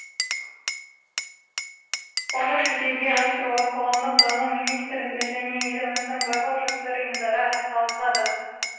оны жүзеге асыруға қоғамдық даму министрлігі және еліміздің барлық жастар ұйымдары атсалысады